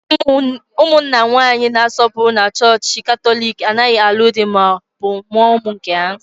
Ụmụnna nwanyị na-asọpụrụ na chọọchị Katọlik anaghị alụ di ma ọ bụ mụọ ụmụ nke ha